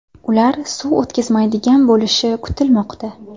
Ular suv o‘tkazmaydigan bo‘lishi kutilmoqda.